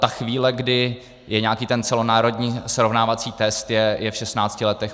Ta chvíle, kdy je nějaký ten celonárodní srovnávací test, je v 16 letech.